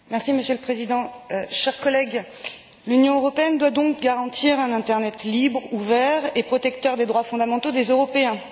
Monsieur le Président, chers collègues, l'Union européenne doit donc garantir un internet libre, ouvert et protecteur des droits fondamentaux des Européens.